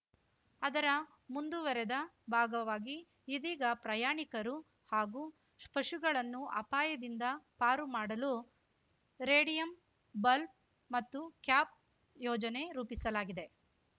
ಅದರ ಮುಂದುವರೆದ ಭಾಗವಾಗಿ ಇದೀಗ ಪ್ರಯಾಣಿಕರು ಹಾಗೂ ಶು ಪಶುಗಳನ್ನು ಅಪಾಯದಿಂದ ಪಾರು ಮಾಡಲು ರೇಡಿಯಂ ಬಲ್ಪ್ ಮತ್ತು ಕ್ಯಾಪ್‌ ಯೋಜನೆ ರೂಪಿಸಲಾಗಿದೆ